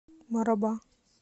мараба